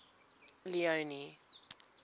leone